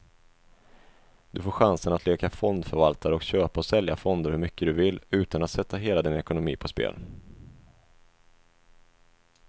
Du får chansen att leka fondförvaltare och köpa och sälja fonder hur mycket du vill, utan att sätta hela din ekonomi på spel.